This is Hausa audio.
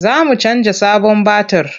Za mu canja sabon batir.